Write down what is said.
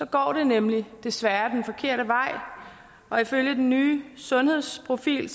går det nemlig desværre den forkerte vej ifølge den nye sundhedsprofil